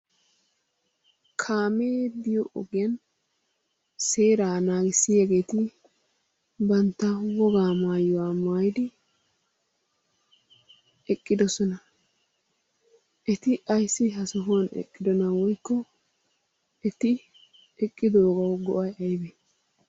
Kaamee biyo ogiyan seeraa naagissiyaageeti bantta wogaa maayuwa maayidi eqqidossona. Eti ayssi ha sohuwan eqqiddona woykko eti eqqiddoogawu go'ay aybee?